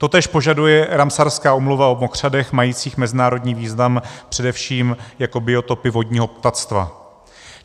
Totéž požaduje Ramsarská úmluva o mokřadech majících mezinárodní význam především jako biotopy vodního ptactva.